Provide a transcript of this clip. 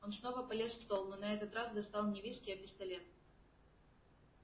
он снова полез в стол но на этот раз достал не виски а пистолет